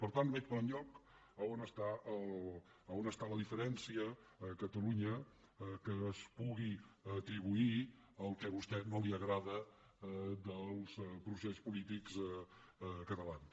per tant no veig per enlloc on està la diferència a catalunya que es pugui atribuir al que vostè no li agrada dels processos polítics catalans